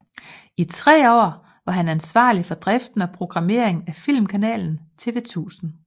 I tre år var han ansvarlig for driften og programmeringen af filmkanalen TV1000